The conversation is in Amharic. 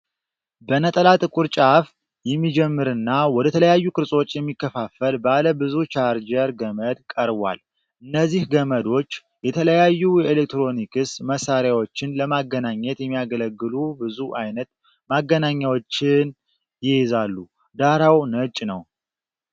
በነጠላ ጥቁር ጫፍ የሚጀምርና ወደ ተለያዩ ቅርጾች የሚከፋፈል ባለ ብዙ ቻርጀር ገመድ ቀርቧል። እነዚህ ገመዶች የተለያዩ የኤሌክትሮኒክስ መሣሪያዎችን ለማገናኘት የሚያገለግሉ ብዙ አይነት ማገናኛዎችን ይይዛሉ። ዳራው ነጭ ነው።